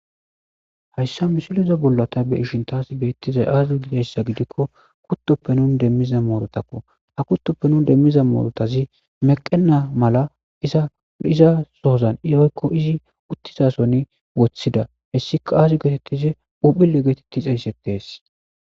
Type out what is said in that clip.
hayssa misiliza bollata be ishin taas beettizay aaze gideyssa gidikko kuttoppe nun demmiza moorotakko ha kuttoppe nun demmiza moorotazi meqena mala iza sohozan iyoykko izi uttizasoni woththida hessika aazi geetettize uphile geetetti xeyssettees